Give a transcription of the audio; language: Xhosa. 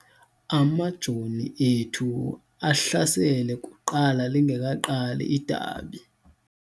Amajoni ethu ahlasele kuqala lingekaqali idabi.